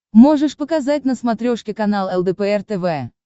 можешь показать на смотрешке канал лдпр тв